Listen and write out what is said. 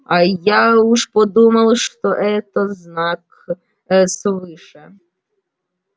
а я уж подумал что это знак свыше